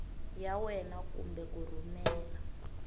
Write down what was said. ya wena kumbe ku rhumela